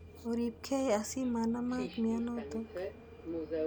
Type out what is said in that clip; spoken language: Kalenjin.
Oripkei asi manamak mianotok.